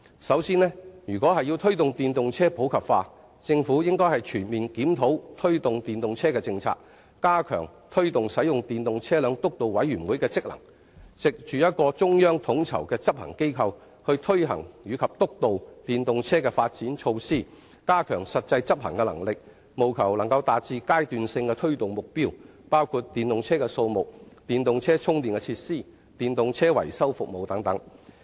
首先，如果要推動電動車普及化，政府應全面檢討相關的政策，加強推動使用電動車輛督導委員會的職能，藉着一個中央統籌的執行機構去推行及督導電動車的發展措施，加強實際執行能力，務求達至階段性的推動目標，包括電動車輛的數目、電動車充電設施的供應、電動車維修服務的提供等。